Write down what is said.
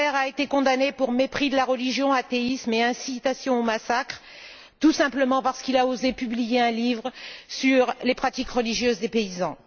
Saber a été condamné pour mépris de la religion, athéisme et incitation au massacre, tout simplement parce qu'il a osé publier un livre sur les pratiques religieuses des paysans.